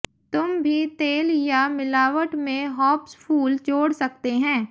तुम भी तेल या मिलावट में हॉप्स फूल जोड़ सकते हैं